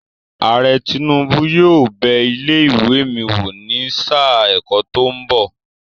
Ààrẹ Tinubu yóò bẹ ilé ìwé mi wò ní sáà ẹ̀kọ́ tó ń bọ̀.